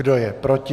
Kdo je proti?